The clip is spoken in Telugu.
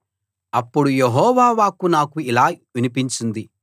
అప్పుడు యెహోవా వాక్కు నాకు ఇలా వినిపించింది